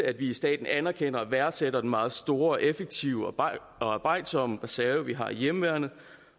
at vi i staten anerkender og værdsætter den meget store og effektive og arbejdsomme reserve vi har i hjemmeværnet